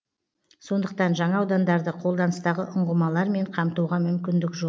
сондықтан жаңа аудандарды қолданыстағы ұңғымалармен қамтуға мүмкіндік жоқ